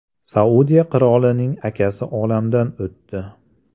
Saudiya qirolining akasi olamdan o‘tdi.